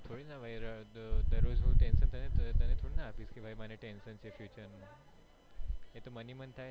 દરરોજ હું તને થોડી ના આપીશ કે ભાઈ મને tension છે future નું એ તો મન હી મન થાય